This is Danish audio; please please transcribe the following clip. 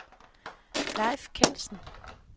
Leif Kjeldsen